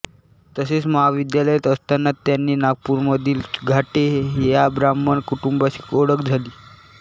तसेच महाविद्यालयात असताना त्यांची नागपूरमधील घाटे या ब्राह्मण कुटुंबाशी ओळख झाली